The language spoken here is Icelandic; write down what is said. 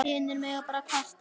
Hinir mega bara kvarta.